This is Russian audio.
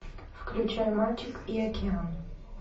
включай мальчик и океан